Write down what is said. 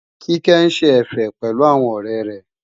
Kíkẹ́ ń ṣe ẹ̀fẹ̀ pẹ̀lú àwọn ọ̀rẹ́ rẹ̀